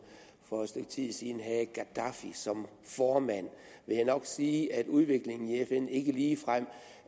for et stykke tid siden havde gadaffi som formand vil jeg nok sige at udviklingen i fn ikke ligefrem